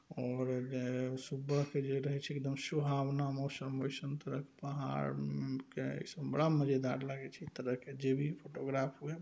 और जे सुबह के जे रहय छै एकदम सुहावना मौसम ऐसन पूरा पहाड़ के ऐसे बड़ा मज़ेदार लागे छैए तरह के जे भी फोटोग्राफ हुए।